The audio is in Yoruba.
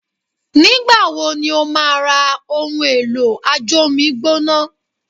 Nígbà wo ni ó máa ra ohun èlò ajómi gbóná.?